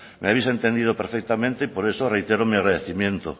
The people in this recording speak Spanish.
me habéis entendido perfectamente y por eso reitero mi agradecimiento